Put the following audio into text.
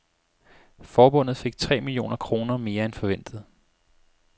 Forbundet fik tre millioner kroner mere end forventet.